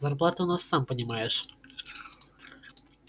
зарплаты у нас сам понимаешь